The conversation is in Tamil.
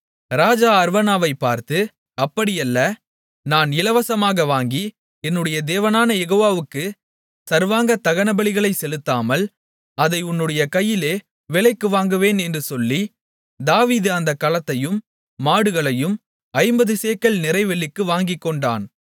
ராஜா அர்வனாவைப் பார்த்து அப்படியல்ல நான் இலவசமாக வாங்கி என்னுடைய தேவனான யெகோவாவுக்கு சர்வாங்கதகனபலிகளைச் செலுத்தாமல் அதை உன்னுடைய கையிலே விலைக்கு வாங்குவேன் என்று சொல்லி தாவீது அந்தக் களத்தையும் மாடுகளையும் ஐம்பது சேக்கல் நிறைவெள்ளிக்கு வாங்கிக்கொண்டான்